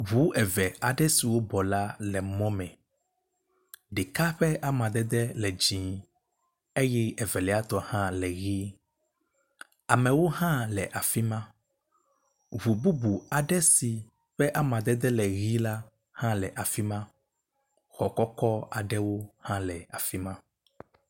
ʋu eve aɖe siwó bɔ̀ la le emɔ mɛ ɖeka ƒe amadede le dzĩ eye evelia tɔ hã le ɣi, amewo hã le afima, ʋu bubu aɖe si ƒe amadede le ɣi la hã le afima xɔ kɔkɔ́ aɖewo hã le afima